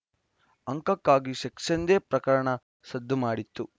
ಅಂಕಕ್ಕಾಗಿ sex ಎಂದೇ ಪ್ರಕರಣ ಸದ್ದು ಮಾಡಿತ್ತು